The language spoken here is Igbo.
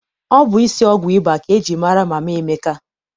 Ọ bụ isi ọgwụ ịba ka eji mara Mama Emeka.